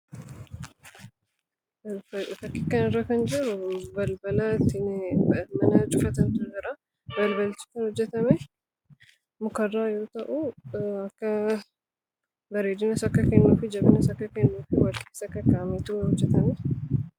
Fakkii kanarraa kan jiruu balbala ittiin mana cufatantu jira. Balbalichis kan hojjatame mukarraa yoo ta'uu, bareedinas akka kennuufi jabinas akka kennuuf wal keessa kakkaawameetu hojjatame.